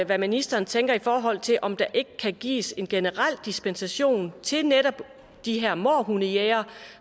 hvad ministeren tænker i forhold til om der ikke kan gives en generel dispensation til netop de her mårhundejægere